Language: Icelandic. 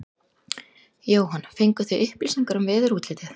Jóhann: Fenguð þið upplýsingar um veðurútlitið?